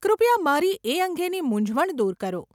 કૃપયા મારી એ અંગેની મુંઝવણ દૂર કરો.